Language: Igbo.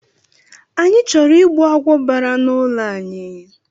Anyị chọrọ ịgbu agwọ bara na ụlọ anyị